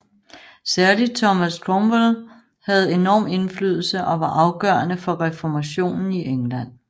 Særlig Thomas Cromwell havde enorm indflydelse og var afgørende for reformationen i England